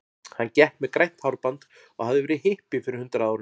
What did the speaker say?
Hann gekk með grænt hárband og hafði verið hippi fyrir hundrað árum.